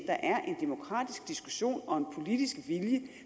er en demokratisk diskussion og en politisk vilje